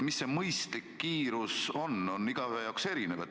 Mis see mõistlik kiirus on, on igaühe jaoks erinev.